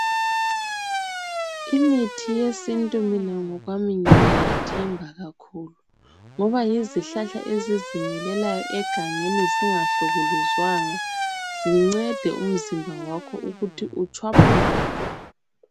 Imithi yesintu mina ngokwami ngiyayethemba kakhulu ngoba yizihlahla ezizimilelayo egangeni zingahlukuluzwanga zincede umzimba wakho ukuthi utshwaphuluke.